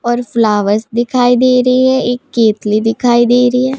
और फ्लावर्स दिखाई दे रहे हैं एक केतली दिखाई दे रही है।